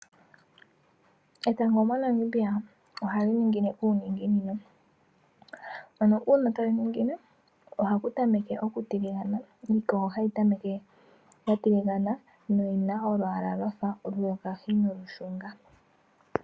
Etango mo Namibia ohali ningine ku ninginino .Aano una tali ningine ohaku tameke oku tiligana iikogo hayi tameke ya tiligana noyina olwala lwafa oluyokahi no lushunga.